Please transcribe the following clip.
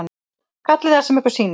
Kallið það hvað sem ykkur sýnist.